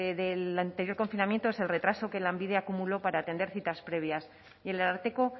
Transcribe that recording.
del anterior confinamiento es el retraso que lanbide acumuló para atender citas previas y el ararteko